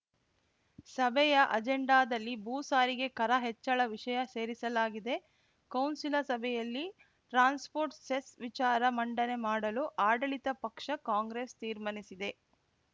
ಸಭೆಯ ಅಜೆಂಡಾದಲ್ಲಿ ಭೂ ಸಾರಿಗೆ ಕರ ಹೆಚ್ಚಳ ವಿಷಯ ಸೇರಿಸಲಾಗಿದೆ ಕೌನ್ಸಿಲ ಸಭೆಯಲ್ಲಿ ಟ್ರಾನ್ಸ್‌ಪೋರ್ಟ್‌ ಸೆಸ್‌ ವಿಚಾರ ಮಂಡನೆ ಮಾಡಲು ಆಡಳಿತ ಪಕ್ಷ ಕಾಂಗ್ರೆಸ್‌ ತೀರ್ಮಾನಿಸಿದೆ